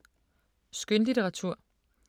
Skønlitteratur